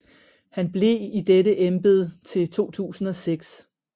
Han blev i dette embed til 2006